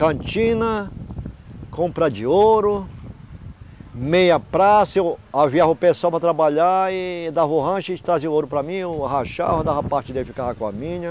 Cantina... Compra de ouro... Meia praça, eu... Havia o pessoal para trabalhar e... Dava o rancho e eles traziam o ouro para mim, eu rachava, dava a parte dele e ficava com a minha.